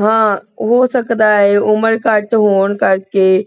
ਹਾਂ ਹੋ ਸਕਦਾ ਹੈ ਉਮਰ ਘਟ ਹੋਣ ਕਰਕੇ,